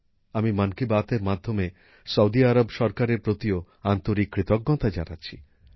আমি মন কি বাতএর মাধ্যমে সৌদি আরব সরকারের প্রতিও আন্তরিক কৃতজ্ঞতা জানাচ্ছি